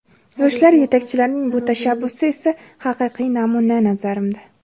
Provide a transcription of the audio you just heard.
Yoshlar yetakchilarining bu tashabbusi esa haqiqiy namuna, nazarimda.